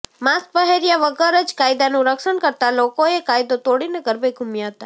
mask પહેર્યા વગર જ કાયદાનું રક્ષણ કરતા લોકોએ કાયદો તોડીને ગરબે ઘૂમ્યા હતા